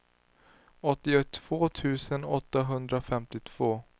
åttiotvå tusen åttahundrafemtiotvå